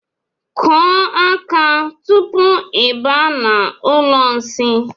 Kụọ aka tupu I baa n'ụlọ nsi.